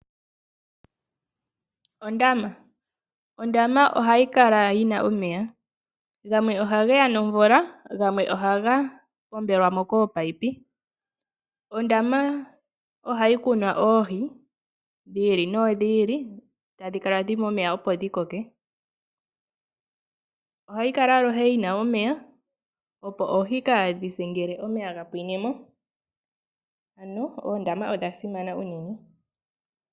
Ondama oha yi kala yina omeya, gamwe ohageya nomvula na gamwe ohaga pombelwamo koopayipi. Ondama ohayi kunwa oohi dhiili no dhiili tadhikala dhili momeya opo dhi koke. Ondama ohayi kala aluhe yina omeya opo oohi kaadhise ngele omeya gapwinemo, ano oondama odhasimana unene.